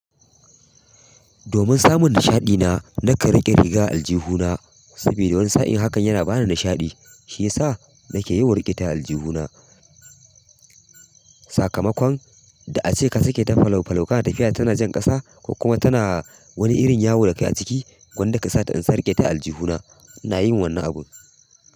Domin samun nishaɗi na, na kan riƙe riga aljihu na saboda wani sa'in hakan yana bani nishaɗi. Shi ya sa nake yawan riƙe ta aljihu na. Sakamakon da ace kasake ta falo falo kan tafiya tana jan ƙasa kuma tana wani irin yawo da kai a ciki, gwandaka sata in sake ta aljihu na, na yin wani abu.